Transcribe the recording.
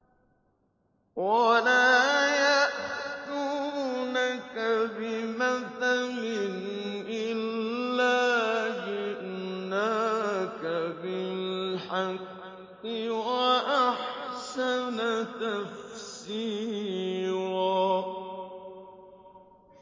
وَلَا يَأْتُونَكَ بِمَثَلٍ إِلَّا جِئْنَاكَ بِالْحَقِّ وَأَحْسَنَ تَفْسِيرًا